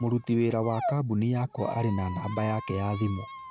Mũruti wĩra wa kambuni yakwa arĩ na namba yake ya thimũ